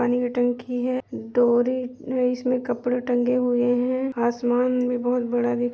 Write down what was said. पानी का टंकी है। डोरी में इसमें कपड़े टंगे हुए हैं आसमान में बहुत बड़ा दि --